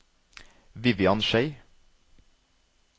Vivian Schei